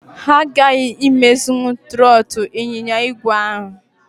Ha aghaghị imezinwu trọọtụ ịnyịnya igwe ahụ.